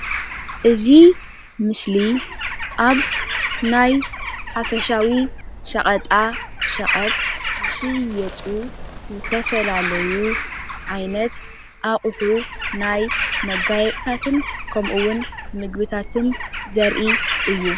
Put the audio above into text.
እዚ ምስሊ ኣብ ናይ ሓፈሻዊ ሽቀጣ ሽቀጥ ዝሽየጡ ዝተፈላለዩ ዓይነት ኣቁሑ ናይ መጋየፅታትን ከምኡ ምግብታትን ዝርኢ እዩ።